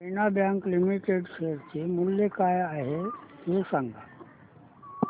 देना bank limited share चे मूल्य काय आहे हे सांगा